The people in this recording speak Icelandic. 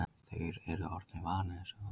Þeir eru orðnir vanir þessu.